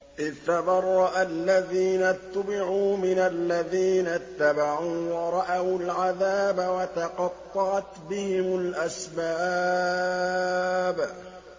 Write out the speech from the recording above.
إِذْ تَبَرَّأَ الَّذِينَ اتُّبِعُوا مِنَ الَّذِينَ اتَّبَعُوا وَرَأَوُا الْعَذَابَ وَتَقَطَّعَتْ بِهِمُ الْأَسْبَابُ